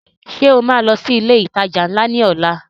Ṣo ma lọ sí ilé ìtajà ńlá lọ́la?